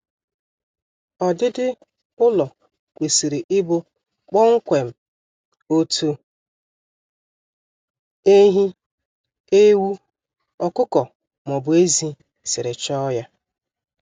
Ọdịdi ụlọ kwesịrị ịbụ kpọmkwem otu ehi, ewu, ọkụkọ maọbụ ezi siri chọọ ya